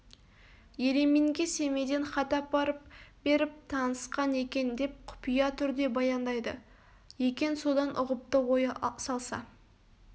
ереминге семейден хат апарып беріп танысқан екен деп құпия түрде баяндайды екен содан ұғыпты ой салса